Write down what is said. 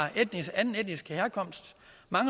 anden etnisk herkomst